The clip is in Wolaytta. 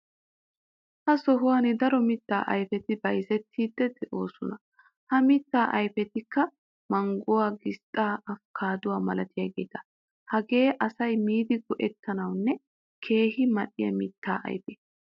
Ha sohuwan daro mittaa ayferi bayzettiiddi de'oosona. Ha mittaa ayfetikka:- mangguwa, gisxxaa, afkkaadduwa malatiyageeta. Hageei asay miidi go'ettiyonne keehi mal"iya mittaa ayfeta.